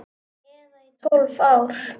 Eða í tólf ár?